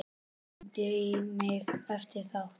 Hringdi í mig eftir þátt.